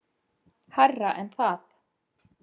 Hærra en það.